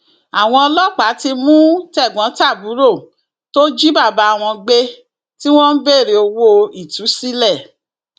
àwọn ọlọpàá ti mú tẹgbọntàbúrò tó jí bàbá wọn gbé tí wọn ń béèrè owó ìtúsílẹ